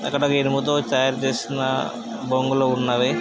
అక్కడ ఇనుముతో తయారుచేసిన బొంగులు ఉన్నవి.